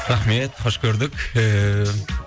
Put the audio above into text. рахмет хош көрдік ііі